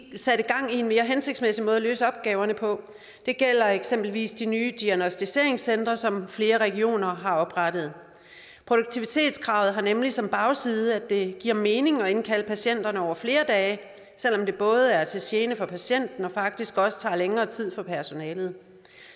en mere hensigtsmæssig måde at løse opgaverne på det gælder eksempelvis de nye diagnosticeringscentre som flere regioner har oprettet produktivitetskravet har nemlig som bagside at det giver mening at indkalde patienterne over flere dage selv om det både er til gene for patienten og faktisk også tager længere tid for personalet